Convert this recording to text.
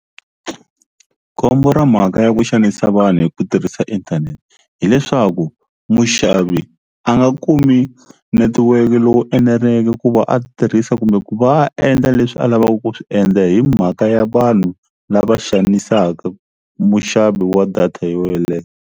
Khombo ra mhaka ya ku xanisa vanhu hi ku tirhisa inthanete hileswaku muxavi a nga kumi netiweke lowu eneleke ku va a tirhisa kumbe ku va a endla leswi a lavaka ku swi endla hi mhaka ya vanhu lava xanisaka muxavi wa data yo yeleyo.